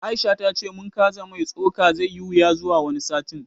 Aisha ta ce mun kaza mai tsoka zai yi wuya zuwa wani satin